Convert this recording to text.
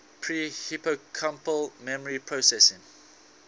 pre hippocampal memory processing